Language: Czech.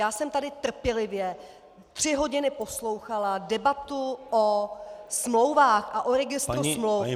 Já jsem tady trpělivě tři hodiny poslouchala debatu o smlouvách a o registru smluv.